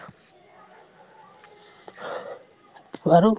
শুনাচোন